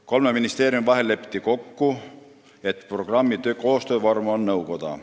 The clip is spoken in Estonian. Kolme ministeeriumi vahel lepiti kokku, et programmi koostöövormiks saab nõukoda.